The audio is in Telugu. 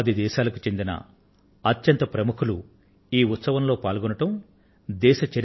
దేశ చరిత్రలోనే మొట్టమొదటి సారిగా పది దేశాల అధినేతలు ఈ ఉత్సవానికి హాజరయ్యారు